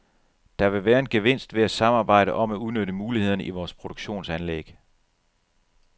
Der vil være en gevinst ved at samarbejde om at udnytte mulighederne i vores produktionsanlæg.